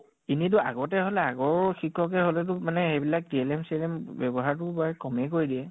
এনেই তো আগতে হʼলে আগৰ শিক্ষকে হʼলে তো মানে হেবিলাক time চিএলেম বেৱ্য়হাৰতো বাৰু কʼমেই কৰি দিয়ে ।